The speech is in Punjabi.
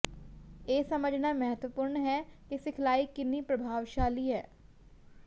ਇਹ ਸਮਝਣਾ ਮਹੱਤਵਪੂਰਣ ਹੈ ਕਿ ਸਿਖਲਾਈ ਕਿੰਨੀ ਪ੍ਰਭਾਵਸ਼ਾਲੀ ਹੈ